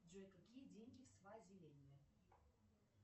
джой какие деньги в свазиленде